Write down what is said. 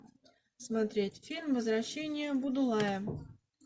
смотреть фильм возвращение будулая